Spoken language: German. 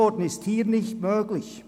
Das ist hier nicht möglich.